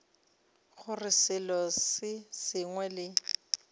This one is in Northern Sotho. gore selo se sengwe le